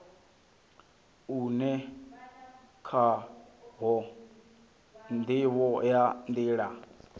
une khawo ndivho ya nila